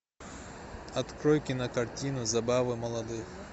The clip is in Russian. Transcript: открой кинокартину забавы молодых